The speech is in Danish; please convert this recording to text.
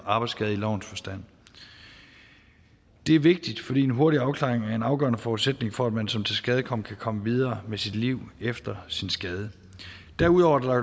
arbejdsskade i lovens forstand det er vigtigt fordi en hurtig afklaring er en afgørende forudsætning for at man som tilskadekommen kan komme videre med sit liv efter sin skade derudover er